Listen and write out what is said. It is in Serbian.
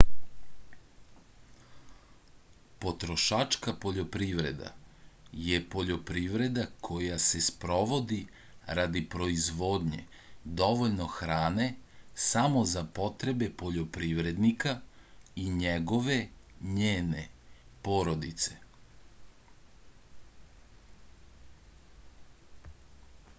потрошачка пољопривреда је пољопривреда која се спроводи ради производње довољно хране само за потребе пољопривредника и његове/њене породице